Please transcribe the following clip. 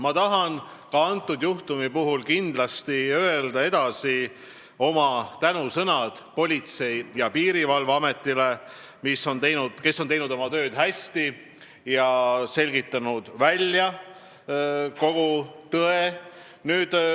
Ma tahan ka antud juhtumi puhul kindlasti öelda edasi oma tänusõnad Politsei- ja Piirivalveametile, kes on teinud oma tööd hästi ja selgitanud välja kogu tõe.